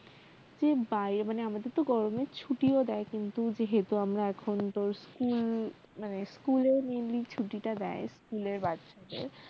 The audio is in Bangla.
যে বাইরে মানে আমাদের তো গরমে ছুটিও দেয় কিন্তু যেহেতু আমরা এখন তোর school মানে school এ mainly ছুটি টা দেয় school এর বাচ্চা দের